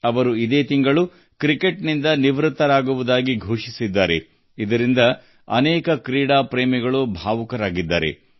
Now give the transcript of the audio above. ಈ ತಿಂಗಳಷ್ಟೇ ಅವರು ಕ್ರಿಕೆಟ್ಗೆ ನಿವೃತ್ತಿ ಘೋಷಿಸಿದ್ದಾರೆ ಇದು ಅನೇಕ ಕ್ರೀಡಾ ಪ್ರೇಮಿಗಳನ್ನು ಭಾವನಾತ್ಮಕವಾಗಿ ಕಂಗೆಡಿಸಿದೆ